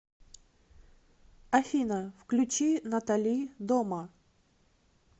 афина включи натали дома